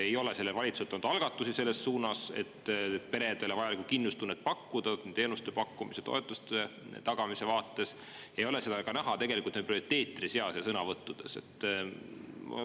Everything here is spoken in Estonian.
Ei ole sellelt valitsuselt tulnud algatusi selles suunas, et teenuste pakkumise ja toetuste tagamisega peredele vajalikku kindlustunnet pakkuda, ei ole seda näha ka nende prioriteetide seas ega sõnavõttudes.